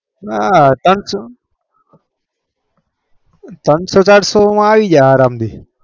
નાં ત્રણ સો માં આવી જશે આરામથી